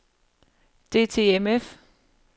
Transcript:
DTMF